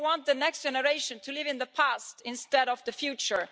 They want the next generation to live in the past, instead of the future.